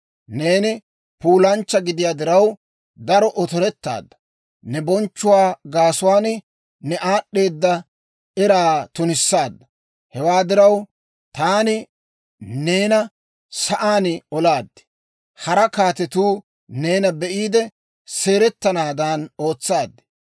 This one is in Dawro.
Neeni puulanchcha gidiyaa diraw, daro otorettaadda; ne bonchchuwaa gaasuwaan, ne aad'd'eeda eraa tunissaadda. Hewaa diraw, taani neena sa'aan olaad; hara kaatetuu neena be'iide seeretanaadan ootsaad.